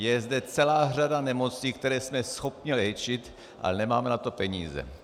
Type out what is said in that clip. Je zde celá řada nemocí, které jsme schopni léčit, ale nemáme na to peníze.